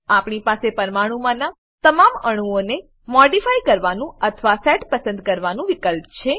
આપણી પાસે પરમાણુમાંનાં તમામ અણુઓને મોડીફાય કરવાનું અથવા સેટ પસંદ કરવાનું વિકલ્પ છે